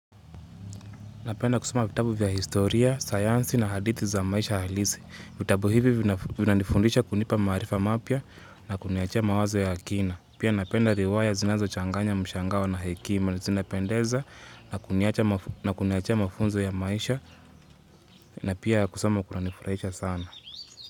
Napenda kusoma vitabu vya historia, sayansi na hadithi za maisha halisi. Vitabu hivi vina vina nifundisha kunipa maarifa mapya na kunia achia mawazo ya akina. Pia napenda riwaya zinazo changanya mshangao na hekima zinapendeza na kuniacha na kuni achia mafunzo ya maisha na pia kusoma kuna nifurahisha sana.